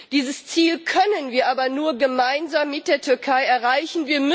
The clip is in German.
Dieses Ziel können wir aber nur gemeinsam mit der Türkei erreichen.